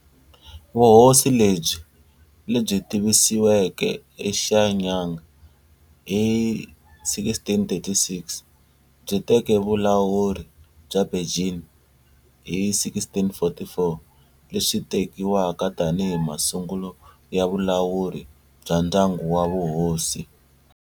Vuhosi lebyi, lebyi tivisiweke eShenyang hi 1636, byi teke vulawuri bya Beijing hi 1644, leswi tekiwaka tanihi masungulo ya vulawuri bya ndyangu wa vuhosi.